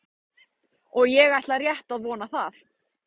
Og ég ætla rétt að vona það.